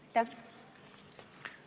Aitäh!